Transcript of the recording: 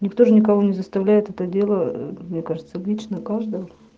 никто же никого не заставляет это дело мне кажется лично каждого